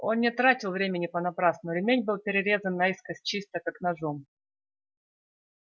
он не тратил времени понапрасну ремень был перерезан наискось чисто как ножом